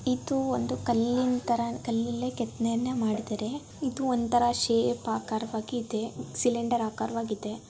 ಇದು ಒಂದು ಕಲ್ಲಿನ ತರ ಕಲ್ಲಲೇ ಕೆತ್ತನೆ ಮಾಡಿದರೆ. ಇದು ಒಂದ್ ತರ ಶೇಪ್ ಆಕರವಾಗಿದೆ. ಸಿಲಿಂಡರ್ ಆಕರವಾಗಿದೆ.